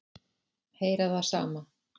Heyra það sama.